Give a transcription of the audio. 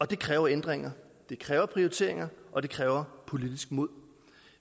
det kræver ændringer det kræver prioriteringer og det kræver politisk mod